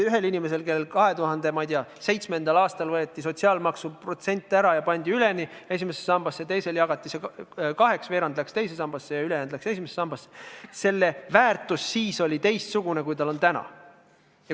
Ühel inimesel pandi 2007. aastal sotsiaalmaksust võetud protsent tervenisti esimesse sambasse, teisel jagati see aga kaheks – veerand läks teise sambasse ja ülejäänu läks esimesse sambasse – ning selle väärtus oli siis teistsugune, kui see on täna.